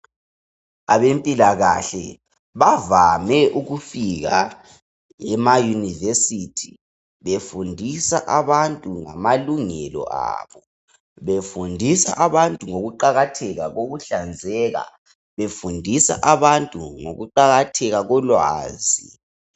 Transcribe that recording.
Abempilakahle bavame ukufika ema university befundisa abantu ngama lungelo abo, befundisa abantu ngokuqakatheka kokuhlanzeka, befundisa abantu ngokuqakatheka kolwazi